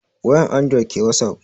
Wayan andured ke wasap